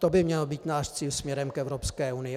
To by měl být náš cíl směrem k Evropské unii.